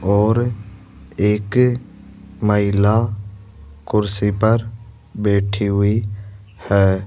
और एक महिला कुर्सी पर बैठी हुई है।